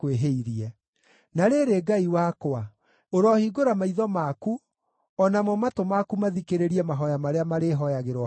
“Na rĩrĩ, Ngai wakwa, ũrohingũra maitho maku, o namo matũ maku mathikĩrĩrie mahooya marĩa marĩhooyagĩrwo handũ haha.